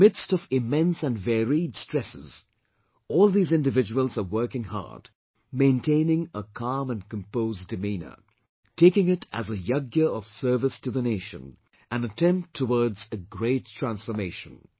In the midst of immense and varied stress, all these individuals are working hard, maintaining a calm and composed demeanour, taking it as a Yagya of Service to the Nation, an attempt towards a great transformation